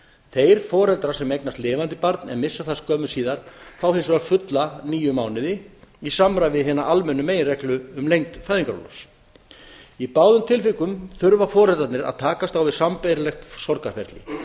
þeir foreldrar sem eignast lifandi barn en missa það skömmu síðar fá hins vegar fulla níu mánuði í samræmi við hina almennu meginreglu um lengd fæðingarorlofs í báðum tilvikum þurfa foreldrarnir að takast á við sambærilegt sorgarferli